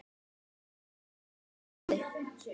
og hvítur heldur velli.